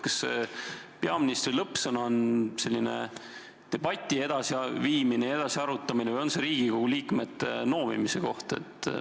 Kas peaministri lõppsõna on debati edasiviimine ja edasiarutamine või on see Riigikogu liikmete noomimise koht?